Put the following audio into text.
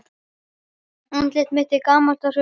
Andlit mitt er gamalt og hrukkótt.